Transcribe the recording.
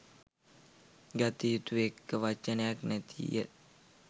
ගත යුතු එක වචනයක් නැතිය.